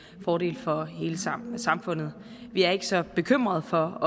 fordel for hele samfundet samfundet vi er ikke så bekymrede for